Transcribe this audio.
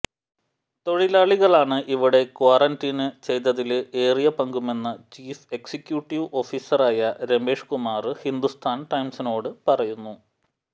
തൊഴിലാളികളാണ് ഇവിടെ ക്വറന്റീന് ചെയ്തതില് ഏറിയ പങ്കുമെന്ന് ചീഫ് എക്സിക്യുട്ടീവ് ഓഫീസറായ രമേഷ് കുമാര് ഹിന്ദുസ്ഥാന് ടൈംസിനോട് പറയുന്നു